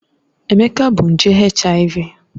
Emeka bu nje HIV